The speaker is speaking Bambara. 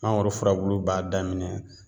Mangoro furabulu b'a daminɛ